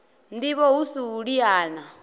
ndivho hu si u liana